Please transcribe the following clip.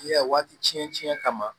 Ne y'a waati cɛn cɛn kama